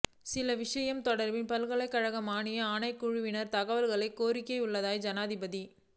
சில விடயங்கள் தொடர்பில் பல்கலைக்கழக மானியங்கள் ஆணைக்குழுவிடம் தகவல்களைக் கோரியுள்ளதாக ஜனாதிபதி